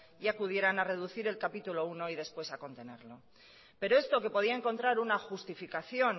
y acudieran a reducir el capítulo primero y después a contenerlo pero esto que podían encontrar una justificación